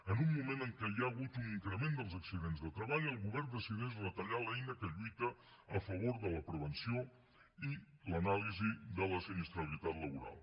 en un moment en què hi ha hagut un increment dels accidents de treball el govern decideix retallar l’eina que lluita a favor de la prevenció i l’anàlisi de la sinistralitat laboral